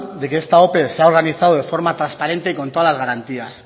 de que esta ope se ha organizado de forma transparente y con todas las garantías